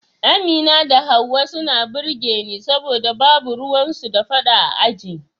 Amina da Hauwa suna burge ni saboda babu ruwan su da fada a aji